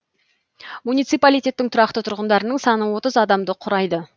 муниципалитеттің тұрақты тұрғындарының саны отыз адамды құрайды